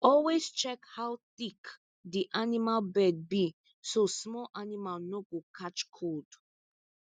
always check how thick the animal bed be so small animal no go catch cold